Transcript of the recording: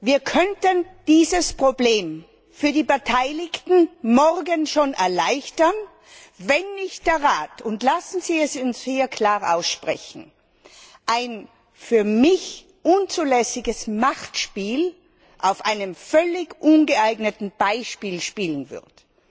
Wir könnten dieses Problem für die Beteiligten schon morgen erleichtern, wenn nicht der Rat und lassen Sie es uns hier klar aussprechen ein für mich unzulässiges Machtspiel auf einem völlig ungeeigneten Feld spielen würde.